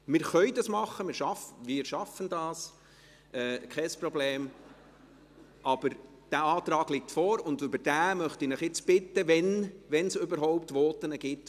Wir können es machen, wir schaffen das, kein Problem – aber dieser Antrag liegt vor, und ich möchte Sie nun bitten, dazu etwas zu sagen, wenn es überhaupt Voten gibt.